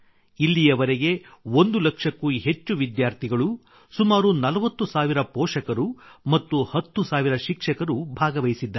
ಇಲ್ಲಿವರೆಗೆ 1 ಲಕ್ಷಕ್ಕೂ ಹೆಚ್ಚು ವಿದ್ಯಾರ್ಥಿಗಳು ಸುಮಾರು 40 ಸಾವಿರ ಪೋಷಕರು ಮತ್ತು 10 ಸಾವಿರ ಶಿಕ್ಷಕರು ಭಾಗವಹಿಸಿದ್ದಾರೆ